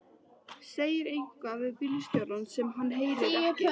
Segir eitthvað við bílstjórann sem hann heyrir ekki.